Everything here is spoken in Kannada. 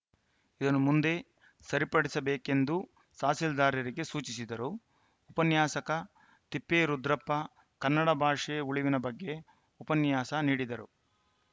ಇದನ್ನು ಮುಂದೆ ಸರಿಪಡಿಸಬೇಕೆಂದು ಸಹಸೀಲ್ದಾರರಿಗೆ ಸೂಚಿಸಿದರು ಉಪನ್ಯಾಸಕ ತಿಪ್ಪೇರುದ್ರಪ್ಪ ಕನ್ನಡ ಭಾಷೆ ಉಳಿವಿನ ಬಗ್ಗೆ ಉಪನ್ಯಾಸ ನೀಡಿದರು